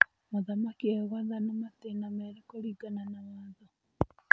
Mũthamaki egwathana matĩna merĩ kũringana na watho.